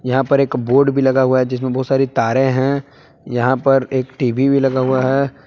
यहां पर एक बोर्ड भी लगा हुआ है जिसमें बहुत सारे तारें है यहां पर एक टी_वी भी लगा हुआ है।